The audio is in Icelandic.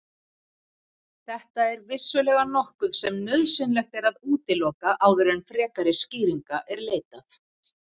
Þetta er vissulega nokkuð sem nauðsynlegt er að útiloka áður en frekari skýringa er leitað.